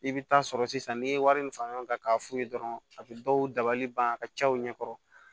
I bɛ taa sɔrɔ sisan n'i ye wari min fara ɲɔgɔn kan k'a f'u ye dɔrɔn a bɛ dɔw dabali ban a ka ca u ɲɛ kɔrɔ